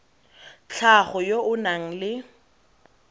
tlhago yo o nang le